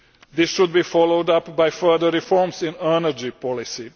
This should be followed up by further reforms in energy policy.